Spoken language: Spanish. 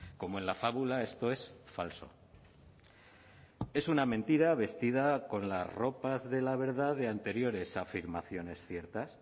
como en la fábula esto es falso es una mentira vestida con las ropas de la verdad de anteriores afirmaciones ciertas